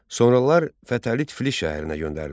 Sonralar Fətəli Tiflis şəhərinə göndərilir.